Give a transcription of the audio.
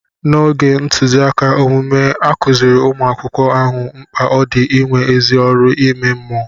N'oge ntụziaka omume, a kụziiri umu akwụkwọ ahụ mkpa ọ dị inwe ezi ọrụ ime mmụọ.